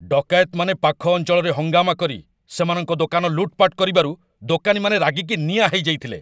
ଡକାୟତମାନେ ପାଖ ଅଞ୍ଚଳରେ ହଙ୍ଗାମା କରି ସେମାନଙ୍କ ଦୋକାନ ଲୁଟ୍‌ପାଟ କରିବାରୁ ଦୋକାନୀମାନେ ରାଗିକି ନିଆଁ ହେଇଯାଇଥିଲେ।